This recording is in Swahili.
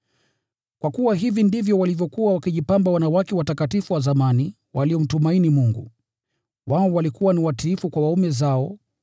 Kwa kuwa hivi ndivyo walivyokuwa wakijipamba wanawake watakatifu wa zamani, waliomtumaini Mungu. Wao walikuwa ni watiifu kwa waume zao,